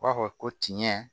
U b'a fɔ ko tiɲɛ